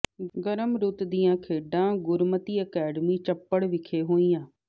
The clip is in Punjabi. ਗਰਮ ਰੁੱਤ ਦੀਆਂ ਖੇਡਾਂ ਗੁਰਮਤਿ ਅਕੈਡਮੀ ਚਪੜ ਵਿਖੇ ਹੋਈਆਂ